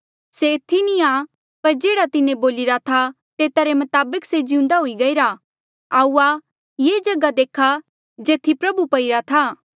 से एथी नी आ पर जेह्ड़ा तिन्हें बोलिरा था तेता रे मताबक से जिउंदा हुई गईरा आऊआ ये जगहा देखा जेथी प्रभु पइरा था